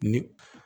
Ni